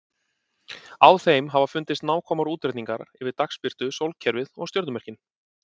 Á þeim hafa fundist nákvæmir útreikningar yfir dagsbirtu, sólkerfið og stjörnumerkin.